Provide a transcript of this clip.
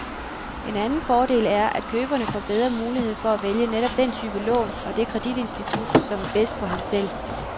En anden fordel er, at køberne får bedre mulighed for at vælge netop den type lån, og det kreditinstitut, som er bedst for ham selv.